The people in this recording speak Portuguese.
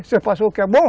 Você passou o que é bom?